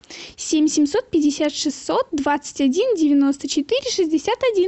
семь семьсот пятьдесят шестьсот двадцать один девяносто четыре шестьдесят один